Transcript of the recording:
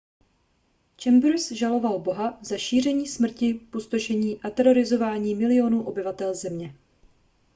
chambers žaloval boha za šíření smrti pustošení a terorizování milionů obyvatel země